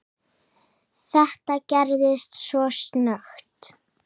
Þetta gerðist svo snöggt.